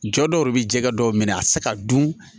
Jɔ dɔw yɛrɛ bɛ jɛgɛ dɔw minɛ a tɛ se ka dun